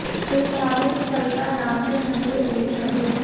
इस धार्मिक स्थल का नाम है शंकरी देवी मंदिर